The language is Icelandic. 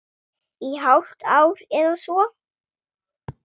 Í hálft ár eða svo.